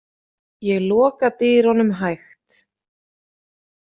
Ég loka dyrunum hægt.